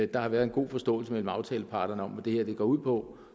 der har været en god forståelse mellem aftaleparterne om hvad det her går ud på